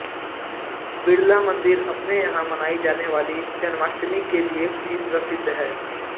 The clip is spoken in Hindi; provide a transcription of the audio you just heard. बिड़ला मंदिर अपने यहाँ मनाई जाने वाली जन्माष्टमी के लिए भी प्रसिद्ध है